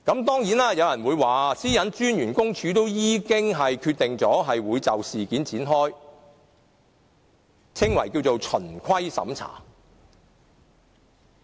當然，有人說個人資料私隱專員公署已經決定就事件展開所謂的循規審查。